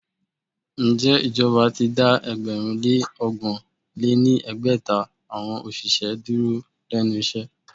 Ǹjẹ́ ìjọba ti dá ẹgbẹ̀rún lé ọgbọ̀n lé ní ẹgbẹ́ta awọn òṣìṣẹ́ dúró lénu iṣẹ́?